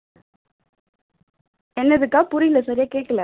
என்னது அக்கா புரியல சரியா கேக்கல